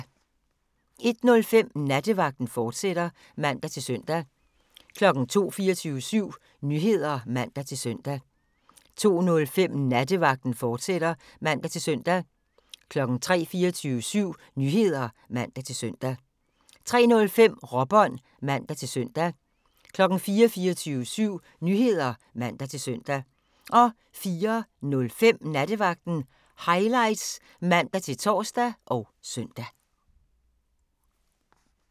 01:05: Nattevagten, fortsat (man-søn) 02:00: 24syv Nyheder (man-søn) 02:05: Nattevagten, fortsat (man-søn) 03:00: 24syv Nyheder (man-søn) 03:05: Råbånd (man-søn) 04:00: 24syv Nyheder (man-søn) 04:05: Nattevagten Highlights (man-tor og søn)